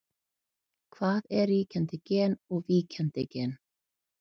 Hvað er ríkjandi gen og víkjandi gen?